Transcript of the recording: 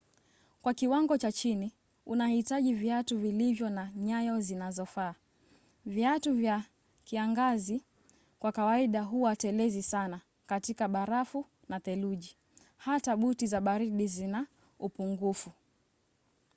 kwa kiwango cha chini unahitaji viatu vilivyo na nyayo zinazofaa. viatu vya kiangazi kwa kawaida huwa telezi sana katika barafu na theluji hata buti za baridi zina upungufu